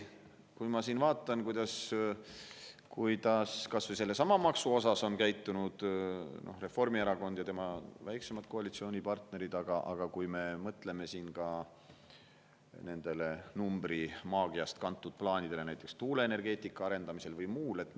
Ma vaatan, kuidas kas või sellesama maksuga on käitunud Reformierakond ja tema väiksemad koalitsioonipartnerid, aga mõtleme ka nendele numbrimaagiast kantud plaanidele näiteks tuuleenergeetika arendamisel või muul puhul.